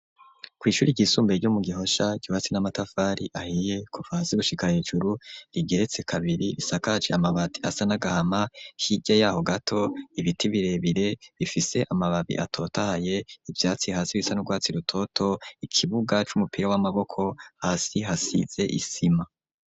Kw'ishure ryisumbuye ryo mu Gihosha ryubatse n'amatafari ahiye kuva hasi gushika hejuru, rigeretse kabiri risakaje amabati asa n'agahama hirya yaho gato ibiti birebire bifise amababi atotahaye, ivyatsi hasi bisa n'urwatsi rutoto, ikibuga c'umupira w'amaboko hasi hasize isima.